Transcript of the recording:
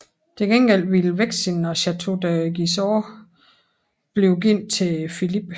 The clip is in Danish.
Til gengæld ville Vexin og Château de Gisors blive givet til Filip